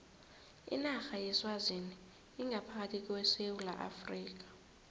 inarha yeswazini ingaphakathi kwesewula afrika